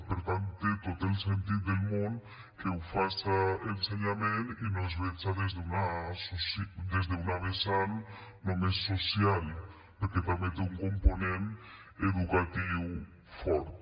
per tant té tot el sentit del món que ho faça ensenyament i no es veja des d’una vessant només social perquè també té un component educatiu fort